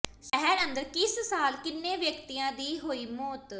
ਸ਼ਹਿਰ ਅੰਦਰ ਕਿਸ ਸਾਲ ਕਿੰਨੇ ਵਿਅਕਤੀਆਂ ਦੀ ਹੋਈ ਮੌਤ